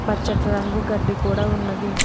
పచ్చటి రంగు గడ్డి కూడా ఉన్నది.